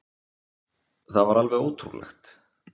Það var alveg ótrúlegt